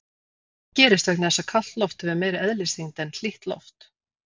Það gerist vegna þess að kalt loft hefur meiri eðlisþyngd en hlýtt loft.